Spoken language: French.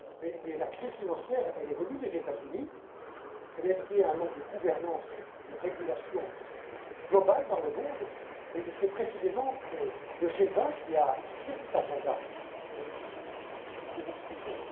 Mais la crise financière est venue des États Unis. Elle est liée à un manque de gouvernance et de régulation globale dans le monde et c'est précisément le G20 qui a fixé cet agenda que nous suivons.